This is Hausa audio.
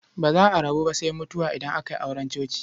Ba za a rabu ba sai mutuwa idan aka yi auren coci.